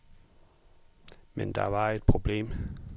Men der var et problem.